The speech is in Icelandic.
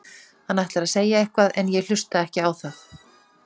Hann ætlar að segja eitthvað en ég hlusta ekki á það.